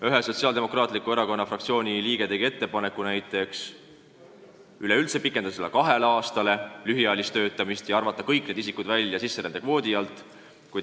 Üks Sotsiaaldemokraatliku Erakonna fraktsiooni liige tegi ettepaneku pikendada lühiajalise töötamise perioodi kahe aastani ja arvata kõik need isikud sisserände kvoodi alt välja.